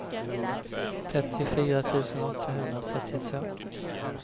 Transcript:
trettiofyra tusen åttahundratrettiotvå